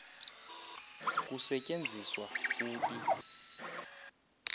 kusetyenziswa u e